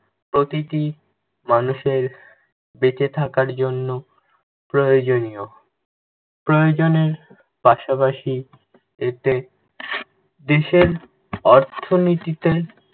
প্রতিটি মানুষের বেঁচে থাকার জন্য প্রয়োজনীয়। প্রয়োজনের পাশাপাশি এতে দেশের অর্থনিতীতে